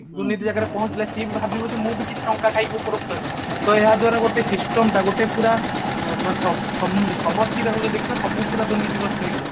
ଦୁର୍ନୀତି ଜାଗାରେ ପହଞ୍ଚିଲା ସିଏ ବି ଭାବିବ ଯେ ମୁଁ ବି କିଛି ଟଙ୍କା ଖାଇ ଉପକୃତ ହେବି ତ ଏହା ଦ୍ଵାରା ଗୋଟେ system ଟା ଗୋଟେ ପୁରା ମ ସ ସ ସମଷ୍ଠୀ ଟାକୁ ଯଦି ଦେଖିବା ସବୁ ପୁରା ଦୁର୍ନୀତି ଗ୍ରସ୍ତ ହେଇ ଯିବ